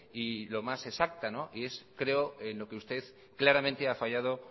y lo más exacta y creo que es en lo que claramente usted ha fallado